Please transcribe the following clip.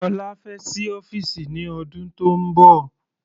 Ọlá fẹ́ sí ọ́fìsì ní ọdún tónbọ̀.